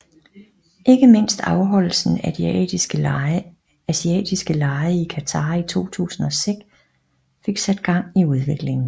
Ikke mindst afholdelsen af De Asiatiske Lege i Qatar i 2006 fik sat gang i udviklingen